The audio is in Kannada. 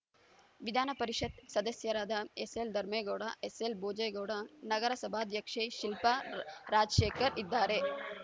ವಿಧಾನಪರಿಷತ್‌ ಸದಸ್ಯರಾದ ಎಸ್‌ಎಲ್‌ ಧರ್ಮೇಗೌಡ ಎಸ್‌ಎಲ್‌ ಭೋಜೇಗೌಡ ನಗರಸಭಾಧ್ಯಕ್ಷೆ ಶಿಲ್ಪಾ ರಾಜಶೇಖರ್‌ ಇದ್ದಾರೆ